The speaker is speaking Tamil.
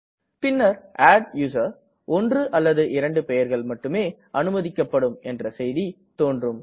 பின்னர் adduser ஒன்று அல்லது இரண்டு பெயர்கள் மட்டுமே அனுமதிக்கப்படும் என்ற செய்தி தோன்றும